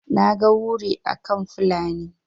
naga wuri akan Fulani